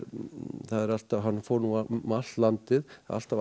það er alltaf hann fór nú um allt landið alltaf allt